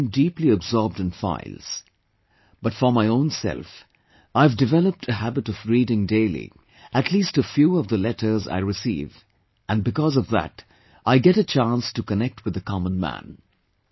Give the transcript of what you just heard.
I have to remain deeply absorbed in files, but for my own self, I have developed a habit of reading daily, at least a few of the letters I receive and because of that I get a chance to connect with the common man